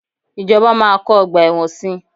Ìjọba máa kọ́ ọgbà ẹ̀wọ̀n si.